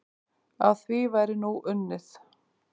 Að því væri nú unnið.